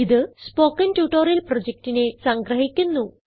ഇത് spoken tutorial പ്രൊജക്റ്റിനെ സംഗ്രഹിക്കുന്നു